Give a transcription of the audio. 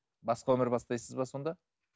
басқа өмір бастайсыз ба сонда